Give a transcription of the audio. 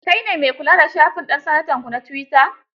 Kai ne me kula da shafin ɗan sanatanku na twitter?